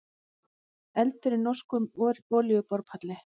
Eldur í norskum olíuborpalli